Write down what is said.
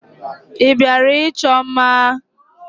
Ị bịara ịchọ mma?